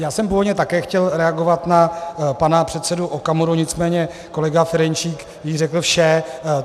Já jsem původně také chtěl reagovat na pana předsedu Okamuru, nicméně kolega Ferjenčík již řekl vše.